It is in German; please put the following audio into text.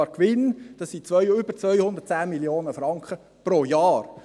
Der Gewinn beträgt mehr als 210 Mio. Franken pro Jahr.